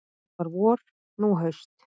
Þá var vor, nú haust.